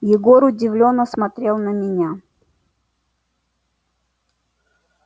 егор удивлённо смотрел на меня